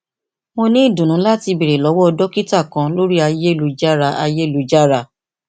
mo ni idunnu lati beere lọwọ dokita kan lori ayelujara ayelujara